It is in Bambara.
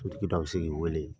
Sotigi dɔ bi se k'i wele.